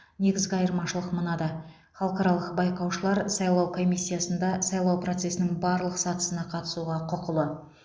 негізгі айырмашылық мынада халықаралық байқаушылар сайлау комиссиясында сайлау процесінің барлық сатысына қатысуға құқылы